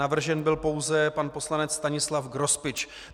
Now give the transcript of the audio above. Navržen byl pouze pan poslanec Stanislav Grospič.